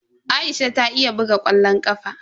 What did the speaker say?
Aisha ta iya buga ƙwallon ƙafa.